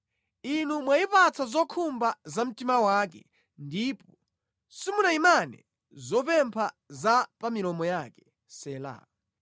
Inu mwayipatsa zokhumba za mtima wake ndipo simunayimane zopempha za pa milomo yake. Sela